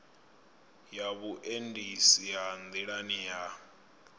ya vhuendisi ha nḓilani ha